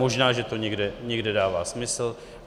Možná že to někde dává smysl.